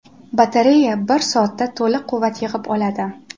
Batareya bir soatda to‘liq quvvat yig‘ib oladi.